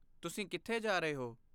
ਤੁਸੀਂ ਕਿੱਥੇ ਜਾ ਰਹੇ ਹੋ?